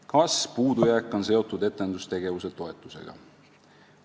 "Kas puudujääk on seotud etendustegevuse toetusega?